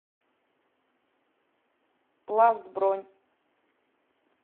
пласт бронь